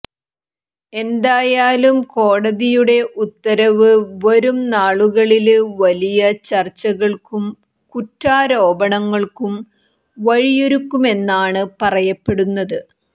എന്തായാലും കോടതിയുടെ ഉത്തരവ് വരും നാളുകളില് വലിയ ചര്ച്ചകള്ക്കും കുറ്റാരോപണങ്ങള്ക്കും വഴിയൊരുക്കുമെന്നാണ് പറയപ്പെടുന്നത്